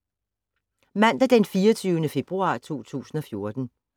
Mandag d. 24. februar 2014